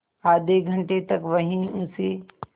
आधे घंटे तक वहीं उसी